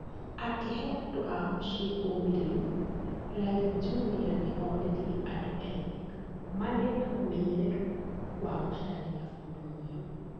Akĩhe andũ a mũciĩ ũmĩrĩru , Raila Junior nĩ oririe andũ ethĩ magĩe na ũmenyeru wa gũcaria ũndũ mwerũ.